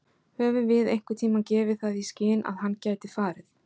Höfum við einhverntímann gefið það í skyn að hann gæti farið?